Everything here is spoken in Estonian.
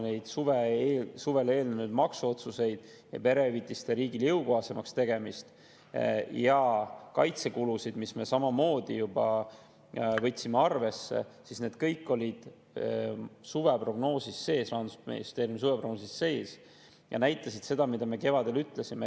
Kui me vaatame suvele eelnenud maksuotsuseid, perehüvitiste riigile jõukohasemaks tegemist ja kaitsekulusid, mida me samamoodi juba võtsime arvesse, siis need olid kõik Rahandusministeeriumi suveprognoosis sees ja näitasid seda, mida me kevadel ütlesime.